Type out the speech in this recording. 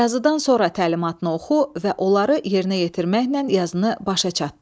Yazıdan sonra təlimatını oxu və onları yerinə yetirməklə yazını başa çatdır.